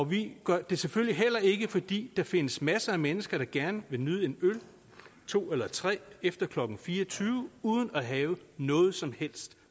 vi gør det selvfølgelig heller ikke fordi der findes masser af mennesker der gerne vil nyde en øl to eller tre efter klokken fire og tyve uden at have noget som helst